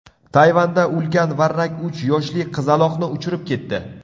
Tayvanda ulkan varrak uch yoshli qizaloqni uchirib ketdi .